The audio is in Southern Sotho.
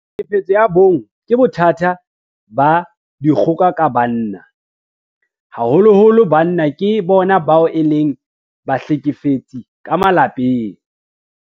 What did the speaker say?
Tlhekefetso ya bong ke bothata ba dikgoka ka banna. Haholoholo banna ke bona bao e leng bahlekefetsi ka malapeng.